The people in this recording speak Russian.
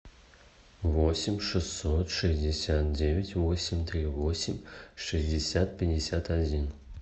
восемь шестьсот шестьдесят девять восемь три восемь шестьдесят пятьдесят один